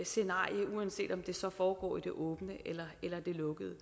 scenarie uanset om det så foregår i det åbne eller det lukkede